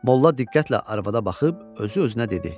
Molla diqqətlə arvada baxıb özü-özünə dedi: